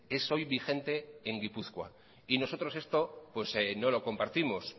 es hoy vigente en gipuzkoa nosotros esto no lo compartimos